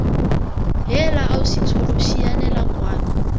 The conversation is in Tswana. heela ausi tsholo sianela kwano